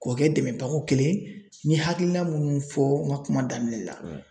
K'o kɛ dɛmɛbako kelen n ye hakilina minnu fɔ n ka kuma daminɛ la.